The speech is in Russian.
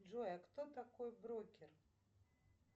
джой а кто такой брокер